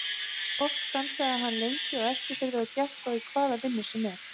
Oft stansaði hann lengi á Eskifirði og gekk þá í hvaða vinnu sem var.